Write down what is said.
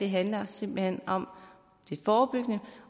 handler simpelt hen om det forebyggende